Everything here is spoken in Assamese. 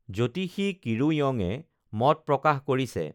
জ্যোতিষী কিৰো ইয়ঙে মত প্ৰকাশ কৰিছে